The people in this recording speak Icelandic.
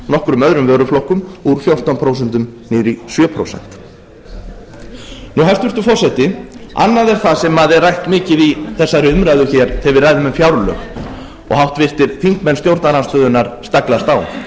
nokkrum öðrum vöruflokkum úr fjórtán prósent niður í sjö prósent hæstvirtur forseti annað er það sem er rætt mikið í þessari umræðu hér þegar við ræðum um fjárlög og háttvirtir þingmenn stjórnarandstöðunnar staglast á